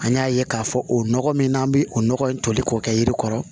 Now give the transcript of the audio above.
An y'a ye k'a fɔ o nɔgɔ min n'an bi o nɔgɔ in toli k'o kɛ yiri kɔrɔ